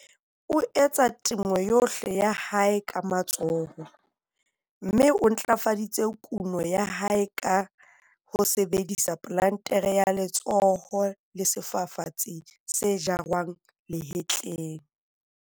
O etsa temo yohle ya hae ka matsoho, mme o ntlafaditse kuno ya hae ka ho sebedisa plantere ya letsoho le sefafatsi se jarwang nahetleng.